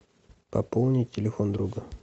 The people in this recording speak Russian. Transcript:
пополни телефон друга